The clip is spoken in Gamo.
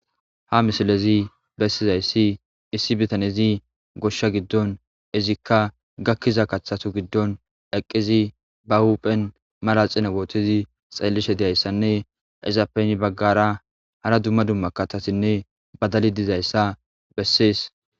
Ha misilezii bessizayssi issi biittanezi gooshsha giddon izikka gaakiza kaththatu giddon eeqizi ba huphphen manaxire woththidii xellishe dizayssanne izappe heeni baggara hara dumma dumma kaththatinne baddalli dizayssa besses